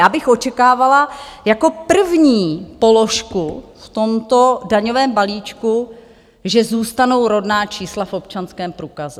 Já bych očekávala jako první položku v tomto daňovém balíčku, že zůstanou rodná čísla v občanském průkaze.